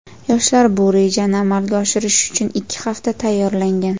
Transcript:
Yoshlar bu rejani amalga oshirish uchun ikki hafta tayyorlangan.